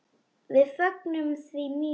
Við fögnum því mjög.